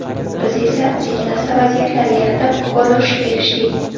Biz esa sekin-asta vaziyatlar yaratib, gol urishga erishdik.